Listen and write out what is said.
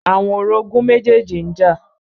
Àwọn orogún méjèjì ń jà.